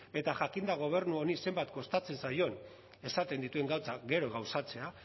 eta jakinda gobernu honi zenbat kostatzen zaion esaten dituen gauzak gero gauzatzea